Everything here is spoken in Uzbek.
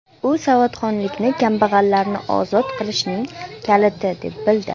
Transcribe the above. U savodxonlikni kambag‘allarni ozod qilishning kaliti deb bildi.